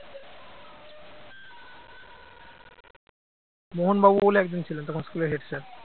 মোহন বাবু বলে একজন ছিলেন তখন school র head sir